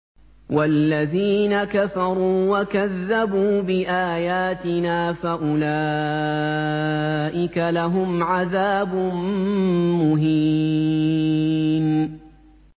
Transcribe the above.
وَالَّذِينَ كَفَرُوا وَكَذَّبُوا بِآيَاتِنَا فَأُولَٰئِكَ لَهُمْ عَذَابٌ مُّهِينٌ